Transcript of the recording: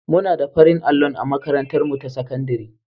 Muna da farin allon a makatantarmu ta sakandare.